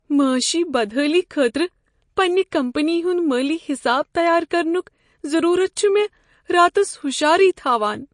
معٲشی بدحٲلی خٲطرٕ پننہ کمپنی ہُند مٲلی حساب تیار کرنک ضروٗرت چھُ مےٚ راتس ہشارے تھاوان۔